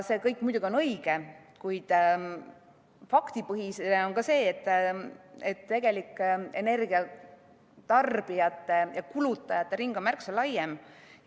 See kõik on muidugi õige, kuid faktipõhine on ka see, et tegelik energiatarbijate ja -kulutajate ring on märksa laiem.